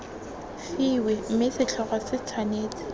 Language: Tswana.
fiwe mme setlhogo se tshwanetse